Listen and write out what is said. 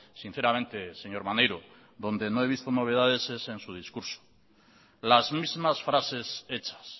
sinceramente señor maneiro donde no he visto novedades es en su discurso las mismas frases hechas